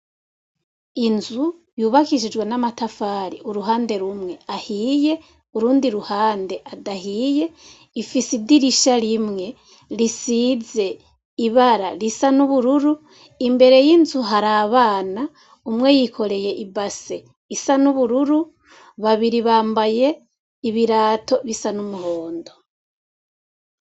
Inzu yubakishijwe n' amatafari uruhande rumwe ahiye, urundi ruhande adahiye, ifise idirisha rimwe risize ibara risa n' ubururu, imbere y' inzu hari abana, umwe yikoreye ibase isa n' ubururu, babiri bambaye ibirato bisa n' umuhondo.